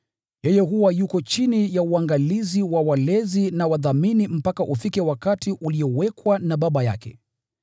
Yeye huwa yuko chini ya uangalizi wa walezi na wadhamini mpaka ufike wakati uliowekwa na baba yake.